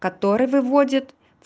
которые выводят